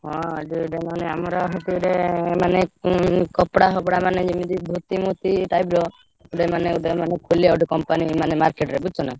କଣ ଏ ଯୋଉ ଏବେ ନହେଲେ ଆମର ସେଠି ଗୋଟେ ମାନେ ଉଁ କପଡ଼ା ଫପଡ଼ା ମାନେ ଯେମିତି ଧୋତି ମୋତି type ର ମାନେ ମାନେ ଖୋଲିଆ ଗୋଟେ company ମାନେ market ରେ ବୁଝୁଛ ନା?